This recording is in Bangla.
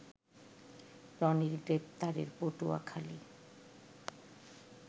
রনির গ্রেপ্তারে পটুয়াখালী